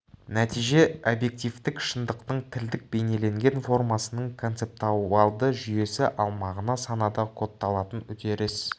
нәтиже объективтік шындықтың тілдік бейнеленген формасының концептуалды жүйесі ал мағына санада кодталатын үдеріс